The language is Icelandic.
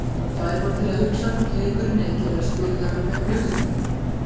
Fær mann til að hugsa hvort leikurinn eigi ekki að vera spilaður með höfuðhlíf.